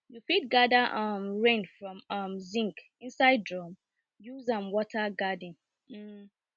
you fit gather um rain from um zinc inside drum use am water garden